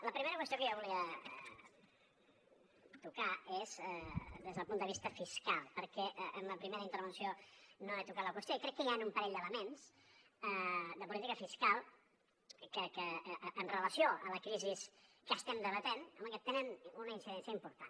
la primera qüestió que jo volia tocar és des del punt de vista fiscal perquè en la primera intervenció no he tocat la qüestió i crec que hi han un parell d’elements de política fiscal que amb relació a la crisi que estem debatent home tenen una incidència important